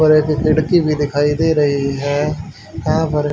पर एक खिड़की भी दिखाई दे रही है वहां पर--